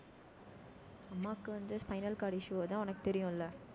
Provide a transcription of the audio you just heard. அம்மாவுக்கு வந்து spinal cord issue தான் உனக்கு தெரியும்ல